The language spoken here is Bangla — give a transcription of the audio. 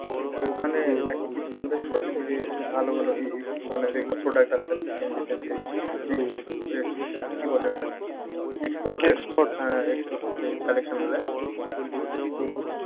তো ওখানে নাকি কিছু invest করলে এইযে ভালো ভালো এই এই মানে যেগুলো product আছে আর কি, গেঞ্জি টেঞ্জি কি? কি বলে ওটা export হ্যাঁ exportcollection গুলা